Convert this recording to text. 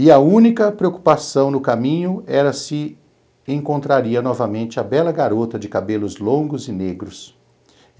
E a única preocupação no caminho era se encontraria novamente a bela garota de cabelos longos e negros.